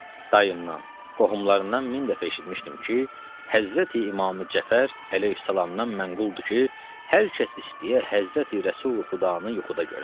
Dayımdan, qohumlarımdan min dəfə eşitmişdim ki, Həzrəti İmam Cəfər Əleyhissalamdan mənquldur ki, hər kəs istəyə Həzrəti Rəsuli Xudanı yuxuda görə.